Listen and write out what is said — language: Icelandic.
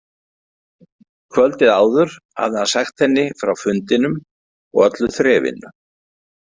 Kvöldið áður hafði hann sagt henni frá fundinum og öllu þrefinu.